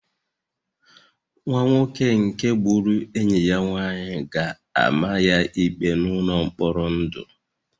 Nwa nwoke nke gburu enyi ya nwanyị ga-ama ya ikpe n'ụlọ mkpọrọ ndụ